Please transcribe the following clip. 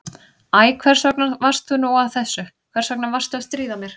Æ, hvers vegna varstu nú að þessu, hvers vegna varstu að stríða mér?